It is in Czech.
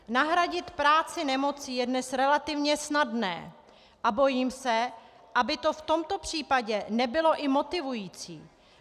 Nahradit práci nemocí je dnes relativně snadné a bojím se, aby to v tomto případě nebylo i motivující.